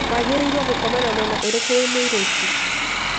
Waagĩrĩiruo gũkoma na mwena ũrĩkũ wĩ mũritũ?